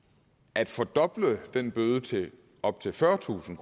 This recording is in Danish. at fordoble den bøde til op til fyrretusind